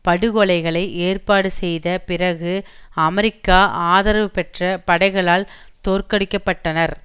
படுகொலைகளை ஏற்பாடு செய்த பிறகு அமெரிக்கா ஆதரவு பெற்ற படைகளால் தோற்கடிக்க பட்டனர்